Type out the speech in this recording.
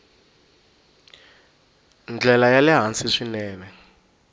ndlela ya le hansi swinene